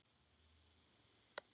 Vonandi verður aldrei af því.